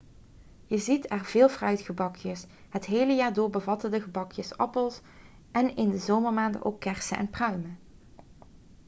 je ziet er veel fruitgebakjes het hele jaar door bevatten de gebakjes appels en in de zomermaanden ook kersen en pruimen